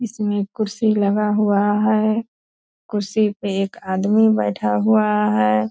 इसमें कुर्सी लगा हुआ है। कुर्सी पे एक आदमी बैठा हुआ है।